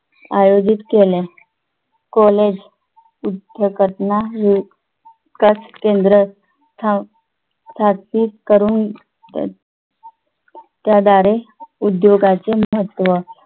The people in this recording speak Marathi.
आयोजित केल्या कॉलेज युद्ध घटना आहे पाच केंद्र स्थान सात्विक करून त्याआधारे उद्योगाचे महत्त्व